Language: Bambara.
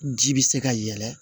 Ji bi se ka yɛlɛ